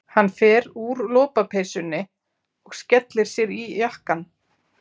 Hann fer úr lopapeysunni og skellir sér í jakkann.